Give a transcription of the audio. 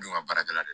Don ka baarakɛla de